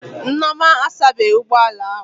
Nneoma asabeghị ụgbọ ala ahụ